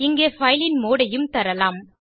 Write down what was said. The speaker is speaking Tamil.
இங்கே பைல் ன் மோடு ஐயும் தரலாம்